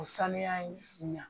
O sanuya in ɲa